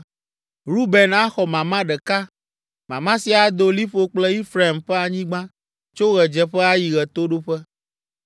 Ruben axɔ mama ɖeka. Mama sia ado liƒo kple Efraim ƒe anyigba tso ɣedzeƒe ayi ɣetoɖoƒe.